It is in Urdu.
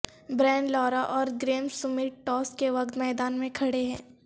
برائن لارا اور گریم سمتھ ٹاس کے وقت میدان میں کھڑے ہیں